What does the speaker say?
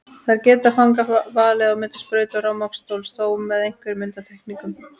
Þar geta fangar valið á milli sprautu og rafmagnsstóls, þó með einhverjum undantekningum.